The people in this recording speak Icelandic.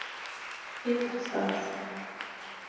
Skinnastað